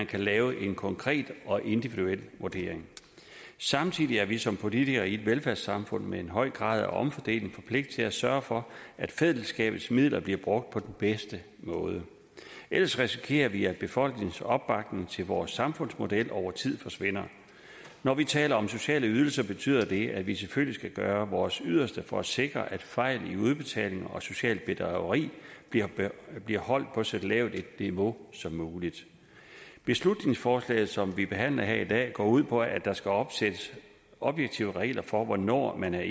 kan laves en konkret og individuel vurdering samtidig er vi som politikere i et velfærdssamfund med en høj grad af omfordeling forpligtet til at sørge for at fællesskabets midler bliver brugt på den bedste måde ellers risikerer vi at befolkningens opbakning til vores samfundsmodel over tid forsvinder når vi taler om sociale ydelser betyder det at vi selvfølgelig skal gøre vores yderste for at sikre at fejl i udbetaling og socialt bedrageri bliver holdt på så lavt et niveau som muligt beslutningsforslaget som vi behandler her i dag går ud på at der skal opsættes objektive regler for hvornår man er